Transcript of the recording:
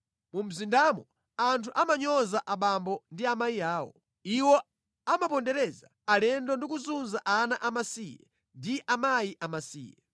Mu mzindamo anthu amanyoza abambo ndi amayi awo. Iwo amapondereza alendo ndi kuzunza ana amasiye ndi akazi amasiye.